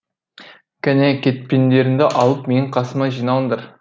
кәне кетпендеріңді алып менің қасыма жиналыңдар